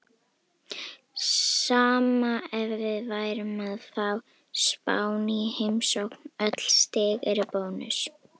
Sama ef við værum að fá Spán í heimsókn, öll stig eru bónus.